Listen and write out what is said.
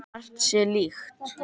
Margt sé líkt.